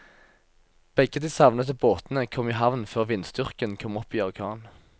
Begge de savnede båtene kom i havn før vindstyrken kom opp i orkan.